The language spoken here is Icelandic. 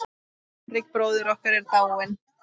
Hinrik bróðir okkar er dáinn.